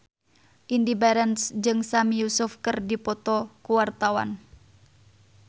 Indy Barens jeung Sami Yusuf keur dipoto ku wartawan